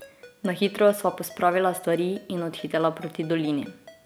Na hitro sva pospravila stvari in odhitela proti dolini.